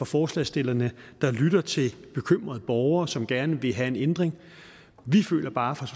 forslagsstillerne der lytter til bekymrede borgere som gerne vil have en ændring vi føler bare fra